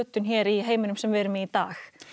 í heiminum sem við erum í í dag